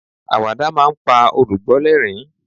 awada ma n pa olùgbọ l'ẹrin